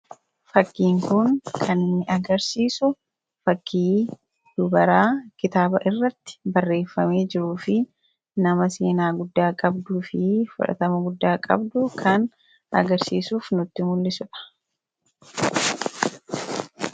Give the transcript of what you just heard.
Fakkiin kun kan inni agarsiisu fakkii dubaraa kitaaba irratti barreeffamee jiruu fi nama seenaa guddaa qabduu fi fudhatama guddaa qabdu kan agarsiisuuf nutti mul'isudha